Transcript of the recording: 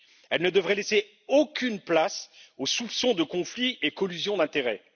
Elles ne devraient laisser aucune place aux soupçons de conflit et collusions d'intérêt.